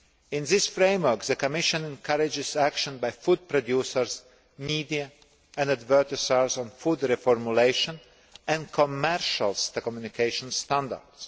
In this framework, the Commission encourages action by food producers, media and advertisers on food reformulation and commercial communication standards.